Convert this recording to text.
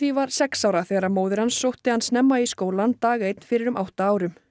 var sex ára þegar móðir hans sótti hann snemma í skólann dag einn fyrir um átta árum